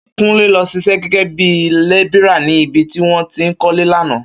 Kúnlé lọ ṣiṣẹ́ gẹ́gẹ́ bí lébìrà ni ibi tí wọ́n ti ń kọ́lé lánàá